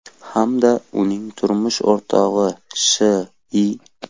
hamda uning turmush o‘rtog‘i Sh.I.